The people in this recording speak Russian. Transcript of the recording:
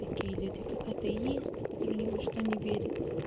такие люди как атеисты которые ни во что не верят